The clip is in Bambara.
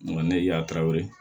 Nka ne y'a taw ye